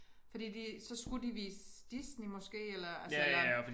Fordi de så skulle de vise Disney måske eller altså eller